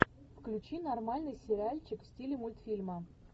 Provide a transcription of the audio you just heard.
включи нормальный сериальчик в стиле мультфильма